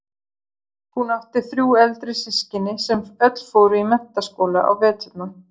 Hún átti þrjú eldri systkini sem öll fóru í Mennta- skóla á veturna.